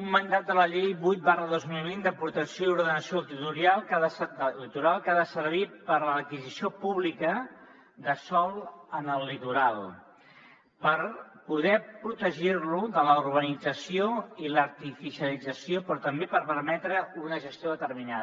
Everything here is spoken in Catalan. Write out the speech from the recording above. un mandat de la llei vuit dos mil vint de protecció i ordenació del litoral que ha de servir per a l’adquisició pública de sòl en el litoral per poder protegir lo de la urbanització i l’artificialització però també per permetre’n una gestió determinada